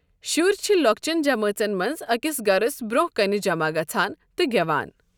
شُرۍ چھِ لوكچن جمٲژن منٛز أکِس گَھرس برٛونٛہہ کنہِ جمع گَژھان تہٕ گٮ۪وان ۔